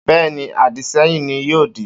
Bẹ́ẹ́ni, àdìsẹ́yìn ní yóò dì.